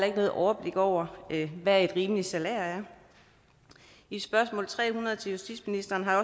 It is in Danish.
ikke noget overblik over hvad et rimeligt salær er i spørgsmål tre hundrede til justitsministeren har